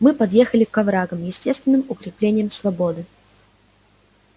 мы подъехали к оврагам естественным укреплениям слободы